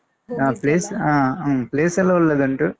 ಹ place ಹ ಹ್ಮ್ place ಸೆಲ್ಲಾ ಒಳ್ಳೆದುಂಟು.